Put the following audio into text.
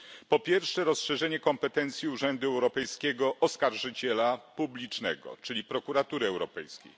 Po pierwsze, rozszerzenie kompetencji urzędu europejskiego oskarżyciela publicznego, czyli Prokuratury Europejskiej.